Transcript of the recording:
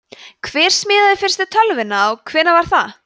hver smíðaði fyrstu tölvuna og hvenær var það